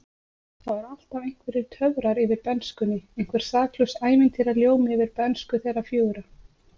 Það voru alltaf einhverjir töfrar yfir bernskunni, einhver saklaus ævintýraljómi yfir bernsku þeirra fjögurra.